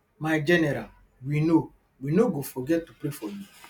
my general we no we no go forget to pray for you